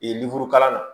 kalan na